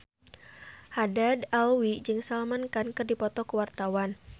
Haddad Alwi jeung Salman Khan keur dipoto ku wartawan